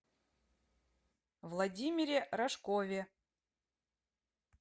владимире рожкове